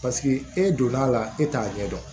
e donna la e t'a ɲɛ dɔn